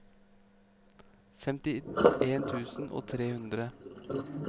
femtien tusen og tre hundre